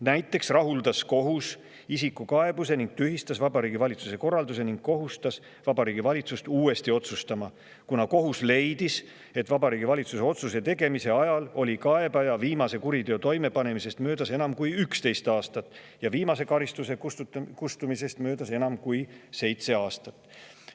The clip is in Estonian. Näiteks rahuldas kohus isiku kaebuse ja tühistas Vabariigi Valitsuse korralduse ning kohustas valitsust uuesti otsustama, kuna kohus leidis, et Vabariigi Valitsuse otsuse tegemise ajal oli kaebaja viimase kuriteo toimepanemisest möödas enam kui üksteist aastat ja viimase kustumisest möödas enam kui seitse aastat.